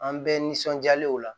An bɛɛ nisɔndiyalenw la